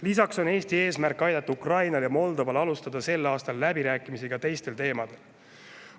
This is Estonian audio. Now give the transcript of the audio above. Lisaks on Eesti eesmärk aidata Ukrainal ja Moldoval alustada sel aastal läbirääkimisi ka teistel teemadel.